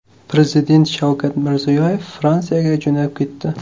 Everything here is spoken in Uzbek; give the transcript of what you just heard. Prezident Shavkat Mirziyoyev Fransiyaga jo‘nab ketdi.